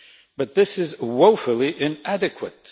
But this is woefully inadequate.